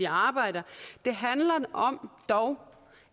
arbejder det handler om